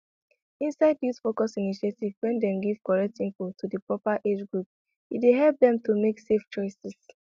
inside youthfocused initiatives wen dem give correct info to di proper age group e dey help dem to make safe choices